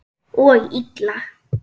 Og illa.